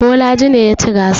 Bolaji ne ya ci gasar.